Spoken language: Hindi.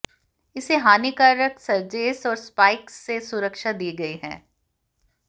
इसे हानिकारक सर्जेस और स्पाइक्स से सुरक्षा दी गई है